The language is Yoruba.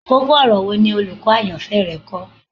Koko-ọrọ wo ni olukọ ayanfẹ rẹ kọ?